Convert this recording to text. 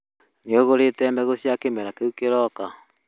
Nĩ ũgũrĩte mbegũ cia kĩmera kĩu kĩroka?